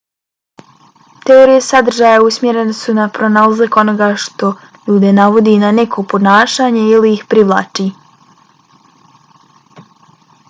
teorije sadržaja usmjerene su na pronalazak onoga što ljude navodi na neko ponašanje ili ih privlači